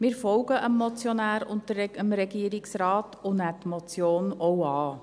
Wir folgen dem Motionär und dem Regierungsrat und nehmen die Motion auch an.